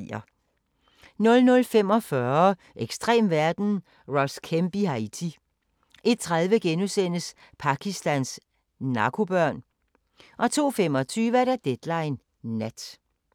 00:45: Ekstrem verden – Ross Kemp i Haiti 01:30: Pakistans narkobørn * 02:25: Deadline Nat